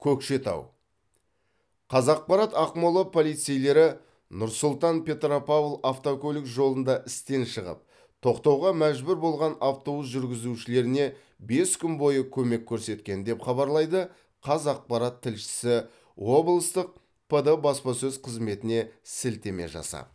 көкшетау қазақпарат ақмола полицейлері нұр сұлтан петропавл автокөлік жолында істен шығып тоқтауға мәжбүр болған автобус жүргізушілеріне бес күн бойы көмек көрсеткен деп хабарлайды қазақпарат тілшісі облыстық пд баспасөз қызметіне сілтеме жасап